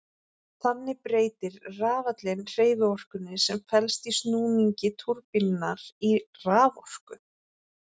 Þannig breytir rafallinn hreyfiorkunni sem felst í snúningi túrbínunnar í raforku.